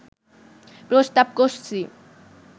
প্রস্তাব করছি